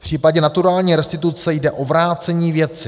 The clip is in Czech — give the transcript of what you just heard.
V případě naturální restituce jde o vrácení věci.